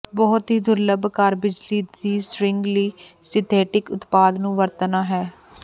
ਬਹੁਤ ਹੀ ਦੁਰਲੱਭ ਕਾਰ ਬਿਜਲੀ ਦੀ ਸਟੀਰਿੰਗ ਲਈ ਸਿੰਥੈਟਿਕ ਉਤਪਾਦ ਨੂੰ ਵਰਤਣਾ ਹੈ